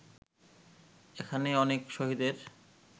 এখানে অনেক শহীদের